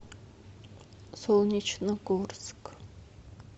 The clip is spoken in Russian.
солнечногорск